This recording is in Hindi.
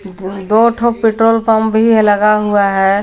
दो ठो पेट्रोल पंप भी है लगा हुआ है।